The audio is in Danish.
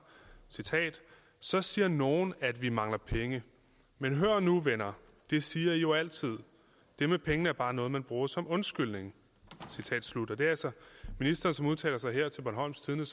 så siger nogle at vi mangler penge men hør nu venner det siger i jo altid det med pengene er bare noget man bruger som undskyldning citat slut det er altså ministeren som her udtaler sig til bornholms tidende